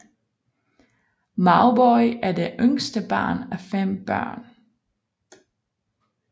Mauboy er det yngste barn af fem børn